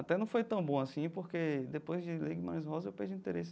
Até não foi tão bom assim, porque depois de ler Guimarães Rosa, eu perdi o interesse.